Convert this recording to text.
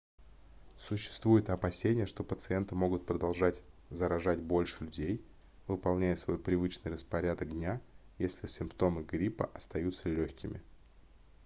существует опасение что пациенты могут продолжать заражать больше людей выполняя свой привычный распорядок дня если симптомы гриппа остаются лёгкими